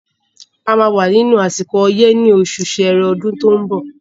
A máa wà nínú àsìkò ọyẹ́ ní osù sẹrẹ ọdún tó ń bọ̀